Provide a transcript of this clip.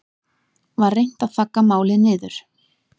Var reynt að þagga málið niður